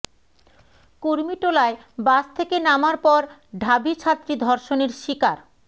কুর্মিটোলায় bus থেকে নামার পর ঢাবি ছাত্রী ধর্ষণের শিকার